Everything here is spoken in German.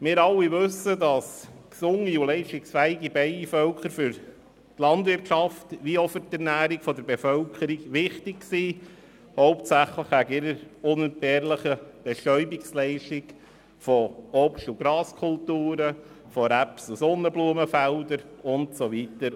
Wir alle wissen, dass gesunde und leistungsfähige Bienenvölker für die Landwirtschaft und für die Ernährung der Bevölkerung wichtig sind, hauptsächlich durch ihre unentbehrliche Bestäubungsleistung von Obst- und Graskulturen, von Raps- und Sonnenblumenfeldern und so weiter.